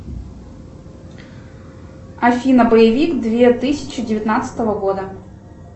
афина боевик две тысячи девятнадцатого года